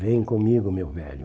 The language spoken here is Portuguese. Vem comigo, meu velho.